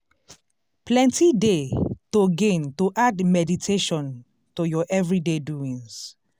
plenty dey to gain to add meditation to ur everyday doings.